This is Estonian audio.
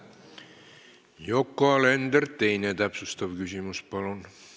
Yoko Alender, teine täpsustav küsimus, palun!